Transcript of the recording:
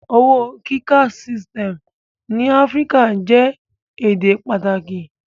Owo kika systes ni African ede jẹ pataki